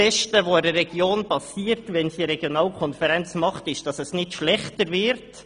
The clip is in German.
Wenn eine Region eine Regionalkonferenz bildet, wird sie bestenfalls nicht schlechter dastehen.